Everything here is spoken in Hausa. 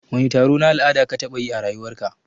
Wani taro na la'ada ka taɓa yi a rayuwar ka?